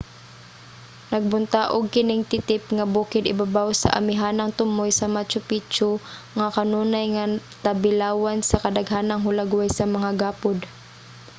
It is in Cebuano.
nagbuntaog kining titip nga bukid ibabaw sa amihanang tumoy sa machu picchu nga kanunay nga tabilawan sa kadaghanang hulagway sa mga gapod